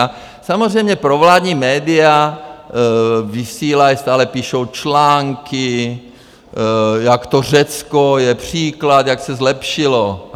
A samozřejmě provládní média vysílají, stále píší články, jak to Řecko je příklad, jak se zlepšilo.